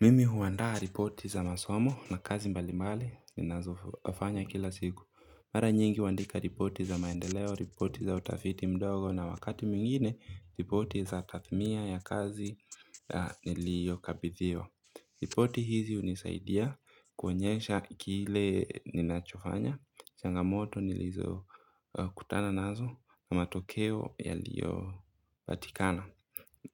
Mimi huandaa ripoti za masomo na kazi mbalimbali ninazofanya kila siku. Mara nyingi huandika ripoti za maendeleo, ripoti za utafiti mdogo na wakati mwingine, ripoti za kathmia ya kazi niliyokabithiwa. Ripoti hizi hunisaidia kuonyesha kile ninachofanya, changamoto nilizokutana nazo na matokeo yaliyopatikana.